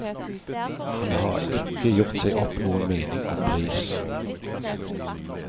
Han har ikke gjort seg opp noen mening om pris.